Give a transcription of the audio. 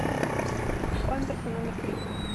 памперсы номер три